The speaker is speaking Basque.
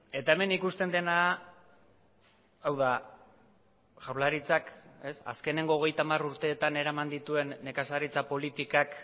eta hemen ikusten dena hau da jaurlaritzak azkeneko hogeita hamar urteetan eraman dituen nekazaritza politikak